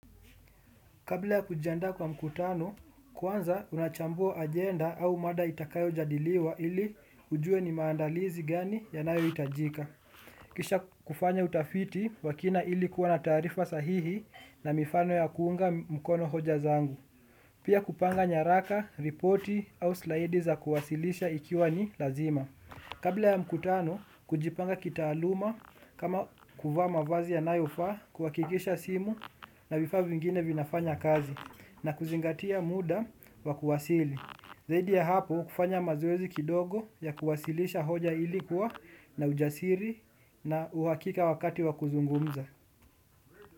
Kabla ya kujiandaa kwa mkutano, kwanza unachambua agenda au mada itakayojadiliwa ili ujue ni maandalizi gani yanayoitajika. Kisha kufanya utafiti wa kina ili kuwa na taarifa sahihi na mifano ya kuunga mkono hoja zangu. Pia kupanga nyaraka, ripoti au slaidi za kuwasilisha ikiwa ni lazima. Kabla ya mkutano, kujipanga kitaaluma kama kuvaa mavazi yanayofaa kuhakikisha simu na vifaa vingine vinafanya kazi na kuzingatia muda wa kuwasili. Zaidi ya hapo, kufanya mazoezi kidogo ya kuwasilisha hoja ili kuwa na ujasiri na uhakika wakati wa kuzungumza.